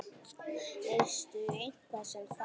Veistu eitthvað um það?